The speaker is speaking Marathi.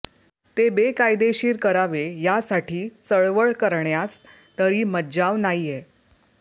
ते बेकायदेशीर करावे यासाठी चळवळ करण्यास तरी मज्जाव नाहीये